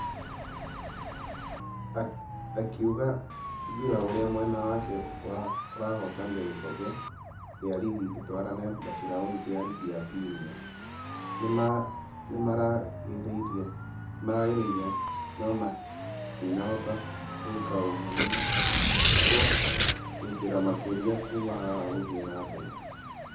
Akĩuga njũra ũrĩa mwena wake ũrahotanire gĩkobe gĩa rigi ĩtwarane na kĩrauni gĩa rigi ya premier. Nĩmarageririe nũmatinahota gũĩka ũguo nĩmakĩrutĩra makĩria kuuma haha gũthie na mbere.